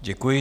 Děkuji.